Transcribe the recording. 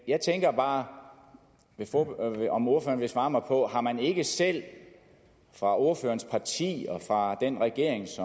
jeg tænker bare om ordføreren vil svare mig på har man ikke selv fra ordførerens partis side og fra den regerings